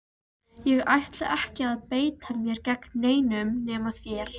Ég ætla ekki að beita mér gegn neinum nema þér!